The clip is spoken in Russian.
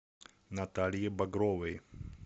наталье багровой